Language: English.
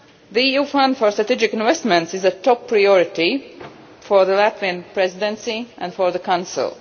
The EU fund for strategic investments is a top priority for the Latvian Presidency and for the Council.